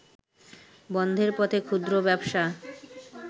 বন্ধের পথে ক্ষুদ্র ব্যবসা